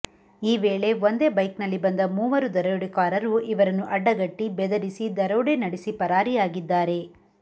ಈ ವೇಳೆ ಒಂದೇ ಬೈಕ್ನಲ್ಲಿ ಬಂದ ಮೂವರು ದರೋಡೆಕೋರರು ಇವರನ್ನು ಅಡ್ಡಗಟ್ಟಿ ಬೆದರಿಸಿ ದರೋಡೆ ನಡೆಸಿ ಪರಾರಿಯಾಗಿದ್ದಾರೆ